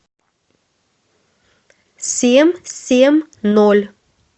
семь семь ноль